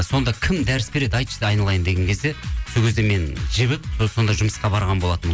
сонда кім дәріс береді айтшы айналайын деген кезде сол кезде мен жібіп сонда жұмысқа барған болатынмын